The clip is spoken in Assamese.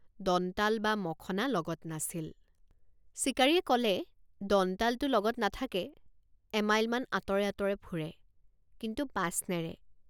দন্তাল বা মখনা লগত নাছিল। দন্তাল বা মখনা লগত নাছিল। চিকাৰীয়ে কলে দন্তালটো লগত নাথাকে এমাইলমান আঁতৰে আঁতৰে ফুৰে কিন্তু পাছ নেৰে।